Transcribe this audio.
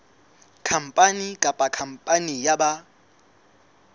khampani kapa khampani ya ba